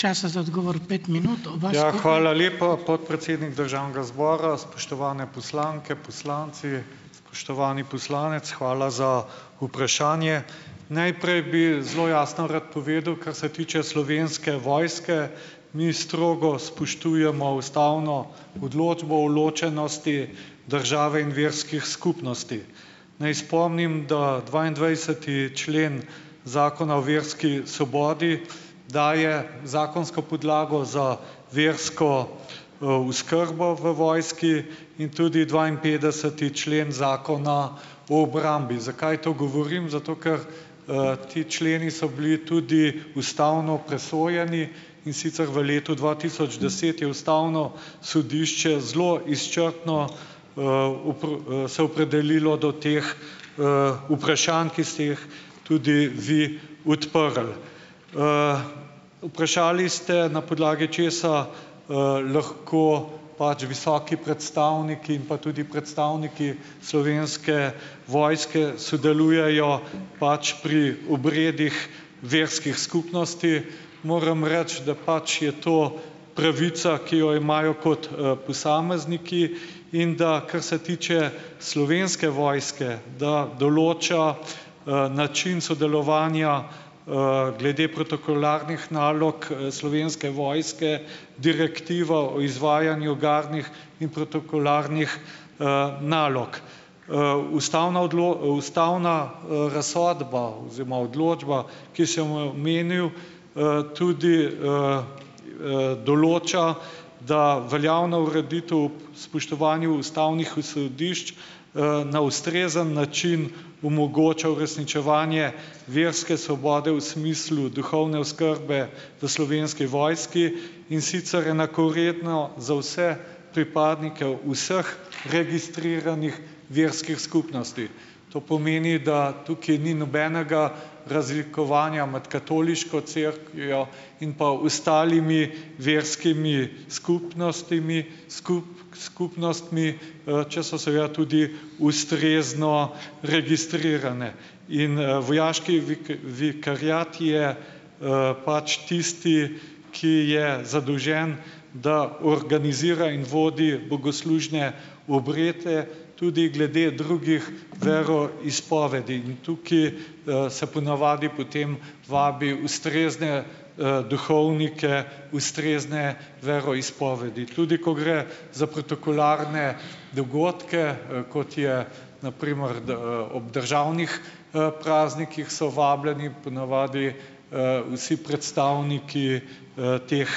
Hvala lepa, podpredsednik državnega zbora. Spoštovane poslanke, poslanci, spoštovani poslanec, hvala za vprašanje. Najprej bi zelo jasno rad povedal, kar se tiče Slovenske vojske. Mi strogo spoštujemo ustavno odločbo o ločenosti države in verskih skupnosti. Naj spomnim, da dvaindvajseti člen Zakona o verski svobodi daje zakonsko podlago za versko, oskrbo v vojski in tudi dvainpetdeseti člen Zakona o obrambi. Zakaj to govorim? Zato, ker, ti členi so bili tudi ustavno presojeni in sicer v letu dva tisoč deset je ustavno sodišče zelo izčrpno, se opredelilo do teh, vprašanj, ki ste jih tudi vi odprli. Vprašali ste, na podlagi česa, lahko pač visoki predstavniki in pa tudi predstavniki Slovenske vojske sodelujejo pač pri obredih verskih skupnosti. Moram reči, da pač je to pravica, ki jo imajo kot, posamezniki, in da, kar se tiče Slovenske vojske, da določa, način sodelovanja, glede protokolarnih nalog Slovenske vojske direktiva o izvajanju gardnih in protokolarnih, nalog. Ustavna ustavna, razsodba oziroma odločba, ki sem jo omenil, tudi, določa, da veljavna ureditev spoštovanju ustavnih osredišč, na ustrezen način omogoča uresničevanje verske svobode v smislu duhovne oskrbe. V Slovenski vojski, in sicer enakovredno za vse pripadnike vseh registriranih verskih skupnosti. To pomeni, da tukaj ni nobenega razlikovanja med katoliško cerkvijo in pa ostalimi verskimi skupnostmi skupnostmi, če so seveda tudi ustrezno registrirane. In, vojaški vikariat je, pač tisti, ki je zadolžen, da organizira in vodi bogoslužne obrede tudi glede drugih veroizpovedi, in tukaj se ponavadi potem vabi ustrezne, duhovnike, ustrezne veroizpovedi. Tudi ko gre za protokolarne dogodke, kot je na primer d, ob državnih, praznikih, so vabljeni ponavadi, vsi predstavniki, teh,